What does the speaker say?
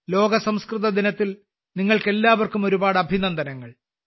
ലോക സംസ്കൃതദിനത്തിൽ നിങ്ങൾക്കെല്ലാവർക്കും ഒരുപാട് അഭിനന്ദനങ്ങൾ